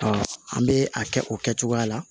an bɛ a kɛ o kɛcogoya la